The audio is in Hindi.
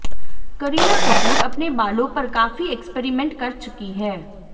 करीना कपूर अपने बालों पर काफी एक्सपेरीमेंट कर चुकी हैं